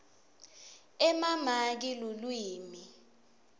emamaki lulwimi